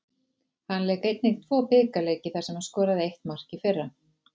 Hann lék einnig tvo bikarleiki þar sem hann skoraði eitt mark í fyrra.